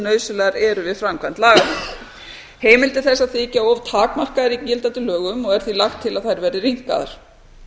nauðsynlegar eru við framkvæmd laganna heimildir þessar þykja of takmarkaðar í gildandi lögum er því lagt til að þær verði rýmkaðar